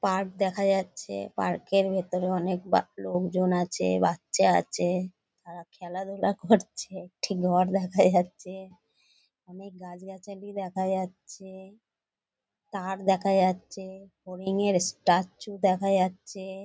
Park দেখা যাচ্ছে। Park এর ভেতরে অনেক বা লোকজন আছে বাচ্চা আছে তারা খেলাধুলা করছে। একটি ঘর দেখা যাচ্ছে। অনেক গাছ গাছালি দেখা যাচ্ছে। তার দেখা যাচ্ছে। হরিণের স্ট্যাচু দেখা যাচ্ছে।